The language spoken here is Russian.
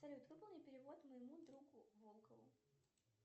салют выполни перевод моему другу волкову